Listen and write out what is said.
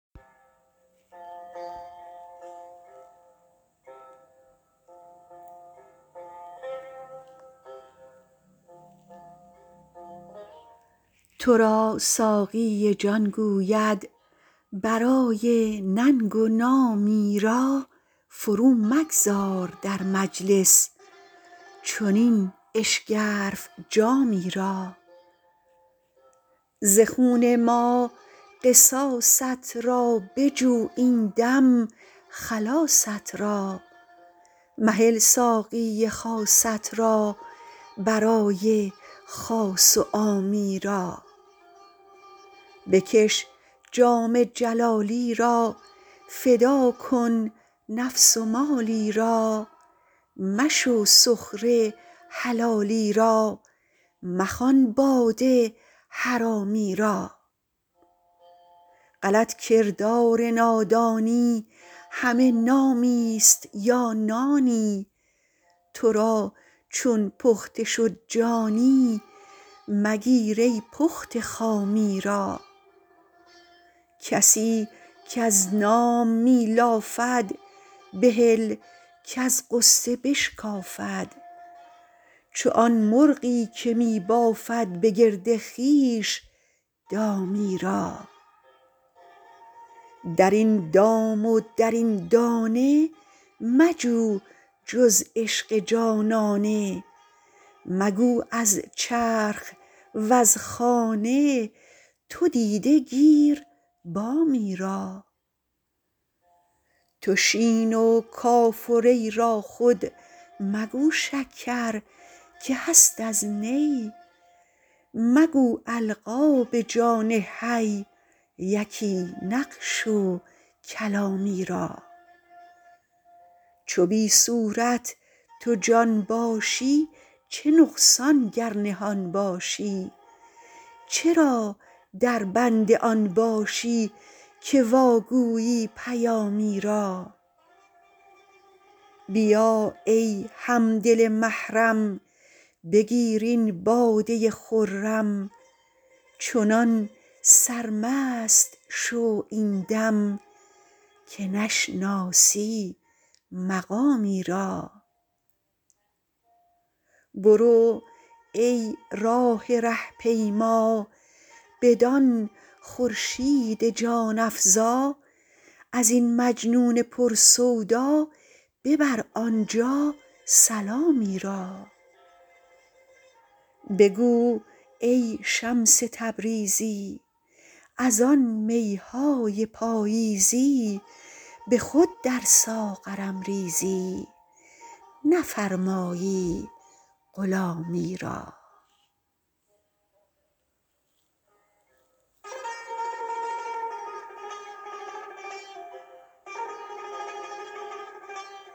تو را ساقی جان گوید برای ننگ و نامی را فرومگذار در مجلس چنین اشگرف جامی را ز خون ما قصاصت را بجو این دم خلاصت را مهل ساقی خاصت را برای خاص و عامی را بکش جام جلالی را فدا کن نفس و مالی را مشو سخره حلالی را مخوان باده حرامی را غلط کردار نادانی همه نامیست یا نانی تو را چون پخته شد جانی مگیر ای پخته خامی را کسی کز نام می لافد بهل کز غصه بشکافد چو آن مرغی که می بافد به گرد خویش دامی را در این دام و در این دانه مجو جز عشق جانانه مگو از چرخ وز خانه تو دیده گیر بامی را تو شین و کاف و ری را خود مگو شکر که هست از نی مگو القاب جان حی یکی نقش و کلامی را چو بی صورت تو جان باشی چه نقصان گر نهان باشی چرا دربند آن باشی که واگویی پیامی را بیا ای هم دل محرم بگیر این باده خرم چنان سرمست شو این دم که نشناسی مقامی را برو ای راه ره پیما بدان خورشید جان افزا از این مجنون پر سودا ببر آنجا سلامی را بگو ای شمس تبریزی از آن می های پاییزی به خود در ساغرم ریزی نفرمایی غلامی را